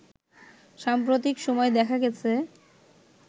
সাম্প্রতিক সময়ে দেখা গেছে